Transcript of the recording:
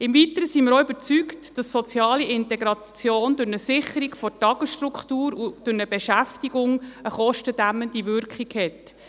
Im Weiteren sind wir auch überzeugt, dass soziale Integration durch die Sicherung einer Tagesstruktur und durch eine Beschäftigung eine kostendämmende Wirkung hat.